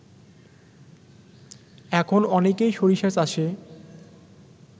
এখন অনেকেই সরিষা চাষে